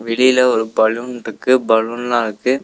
வெளியில ஒரு பலூன்ருக்கு பலூன்லா இருக்கு.